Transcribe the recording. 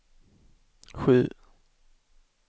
sju